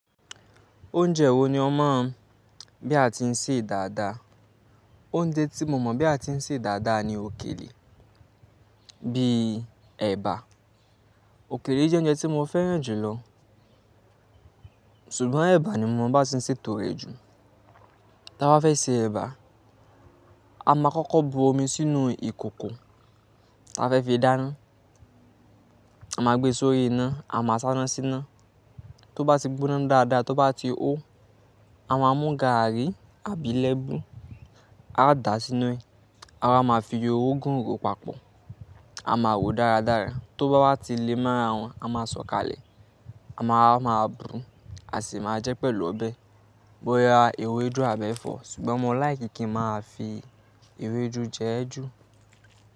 Oúnjẹ wo ni ó mọ̀ bí a ti ń sè dáadáa? Oúnjẹ tí mo mọ̀ bí a ti ń sè dáadáa ni òkèlè, bíi ẹ̀bà. Òkèlè jẹ́ oúnjẹ tí mo fẹ́ràn jù lọ, ṣùgbọ́n ẹ̀bà ni mo mọ bá ti ń sè tó rẹ̀ jù. Tí a bá fẹ́ sè ẹ̀bà, a máa kọ́kọ́ bu omi sínú ìkòkò, ti a fẹ́ fi dáná. A máa gbe sórí iná, a máa ṣáná síná. Tó bá ti gbóná dáadáa, tó bá ti hó, a máa mú gàárì àbí lẹ́bù, á dàa sínú ẹ. A máa fi orógún rò papọ, a máa rò dáradára. Tó bá wá ti lé m'ára wọn, a máa sọkalẹ. A máa wa ma bu, a sì máa jẹ pẹ̀lú ọbẹ. Bóyá ewédú àbí ẹ̀fọ́, ṣùgbọ́n mo fẹran kín máa fi ewédú jẹ ẹ́ jù.